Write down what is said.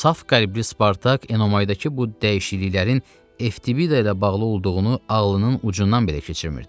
Saf qəlbli Spartak Enomaydakı bu dəyişikliklərin Evtibida ilə bağlı olduğunu ağlının ucundan belə keçirmirdi.